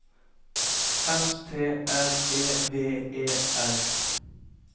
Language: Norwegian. S T R E V E R